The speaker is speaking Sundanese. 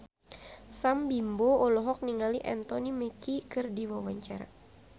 Sam Bimbo olohok ningali Anthony Mackie keur diwawancara